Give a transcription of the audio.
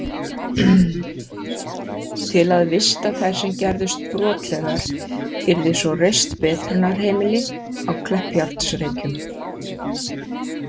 Til að vista þær sem gerðust brotlegar yrði svo reist betrunarheimili á Kleppsjárnsreykjum.